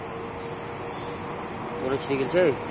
তোর ও ছিঁড়ে গেইলছে?